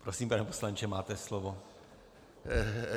Prosím, pane poslanče, máte slovo.